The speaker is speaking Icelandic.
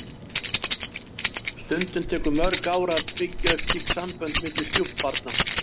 Stundum tekur mörg ár að byggja upp slík sambönd milli stjúpbarna.